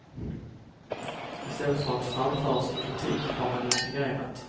I stället för att framföra sin kritik har han intrigerat.